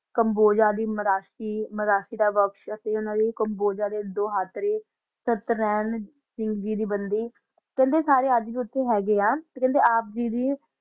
combo ਮਰਾਸੀ ਕੰਬੋ ਜਾਦੀ ਯਾ ਮਾਰ੍ਸ਼ੀ ਦਾ ਵਾਕ਼ਾਤ ਸੁਬ੍ਤਰਾਂ ਦੋਆ ਜੀ ਦੀ ਬੰਦੀ ਸਾਰਾ ਅਨਾ ਹ ਗਾ ਆ